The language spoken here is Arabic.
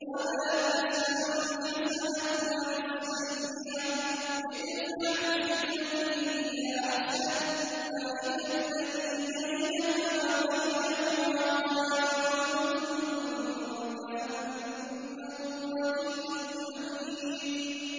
وَلَا تَسْتَوِي الْحَسَنَةُ وَلَا السَّيِّئَةُ ۚ ادْفَعْ بِالَّتِي هِيَ أَحْسَنُ فَإِذَا الَّذِي بَيْنَكَ وَبَيْنَهُ عَدَاوَةٌ كَأَنَّهُ وَلِيٌّ حَمِيمٌ